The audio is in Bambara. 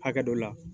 Hakɛ dɔ la